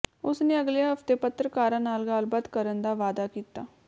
ਉਸਨੇ ਅਗਲੇ ਹਫਤੇ ਪੱਤਰਕਾਰਾਂ ਨਾਲ ਗੱਲਬਾਤ ਕਰਨ ਦਾ ਵਾਅਦਾ ਕੀਤਾ